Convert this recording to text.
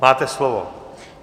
Máte slovo.